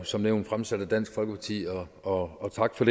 som nævnt fremsat af dansk folkeparti og og tak for